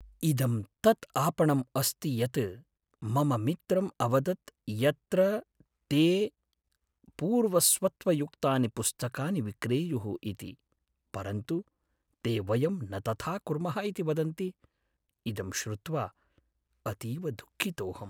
इदं तत् आपणम् अस्ति यत् मम मित्रम् अवदत् यत्र ते पूर्वस्वत्वयुक्तानि पुस्तकानि विक्रेयुः इति, परन्तु ते वयं न तथा कुर्मः इति वदन्ति, इदं श्रुत्वा अतीव दुःखितोहम्।